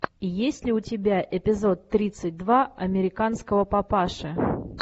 есть ли у тебя эпизод тридцать два американского папаши